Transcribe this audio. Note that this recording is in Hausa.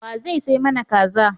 Wa zai sai mana Kaza.